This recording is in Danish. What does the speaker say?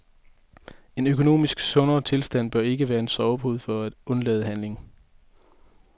En økonomisk sundere tilstand bør ikke være en sovepude for at undlade handling.